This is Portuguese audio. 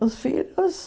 Os filhos...